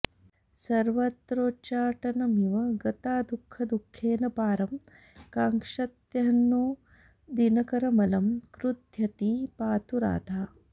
सर्वत्रोच्चाटनमिव गता दुःखदुःखेन पारं काङ्क्षत्यह्नो दिनकरमलं क्रुध्यती पातु राधा